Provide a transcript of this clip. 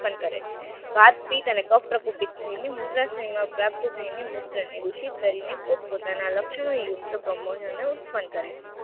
ઉત્પન્ન કરે છે. વાતપીત અને કફ પ્રકોપિત થઈને મૂત્રાશયમાં પ્રાપ્ત થઈને મૂત્ર ને દુષિત કરીને પોતપોતાના લક્ષણો યુક્ત પ્રમોજનો ઉત્પન્ન કરે છે.